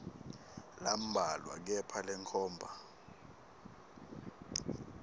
lambalwa kepha lenkhomba